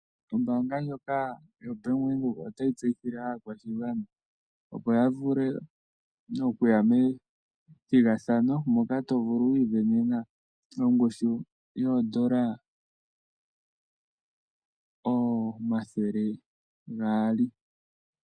Ombaanga ndjoka yoBank Windhoek otayi tseyithile aakwashigwana opo yavule okuya methigathano, moka tovulu wiivenena ongushu yoodola omathele gaali.